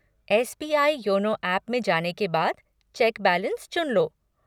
SBI. YONO app में जाने के बाद चेक बैलेंस चुन लो।